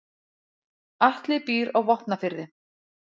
Atli býr á Vopnafirði.